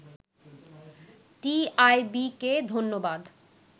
“টিআইবিকে ধন্যবাদ